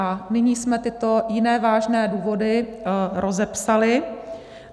A nyní jsme tyto jiné vážné důvody rozepsali.